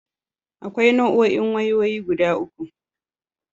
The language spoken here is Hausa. Akwai Nau'o'in wayoyi guda uku.